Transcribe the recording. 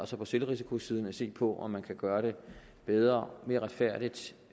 så på selvrisikosiden at se på om man kan gøre det bedre mere retfærdigt